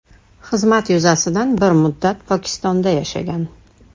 Xizmat yuzasidan bir muddat Pokistonda yashagan.